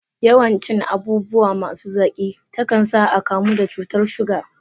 Yawan cin abubuwa masu zaki, ta kan sa a kamu da cutar shuga.